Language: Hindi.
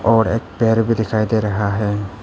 और एक पेड़ भी दिखाई दे रहा है।